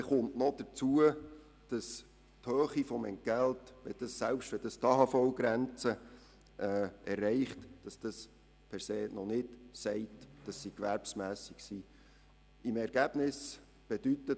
Erreicht die Höhe des Entgelts die AHV-Grenze, bedeutet dies nicht automatisch, dass daraus eine Gewerbsmässigkeit abgeleitet werden kann.